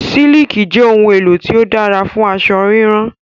Sííkì jẹ ohun-èlò tó dára fún aṣọ rírán.